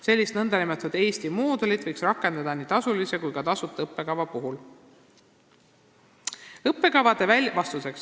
Sellist nn Eesti moodulit võiks rakendada nii tasulise kui ka tasuta õppekava puhul.